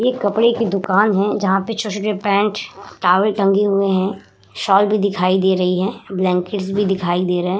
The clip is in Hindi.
ये कपडे की दुकान हैं जहां पे छोटे-छोटे पेंट टॉवल टंगे हुए हैं। शाल भी दिखाई दे रही है ब्लैन्केट्स भी दिखाई दे रहे हैं।